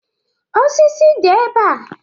Osisi dị ebe a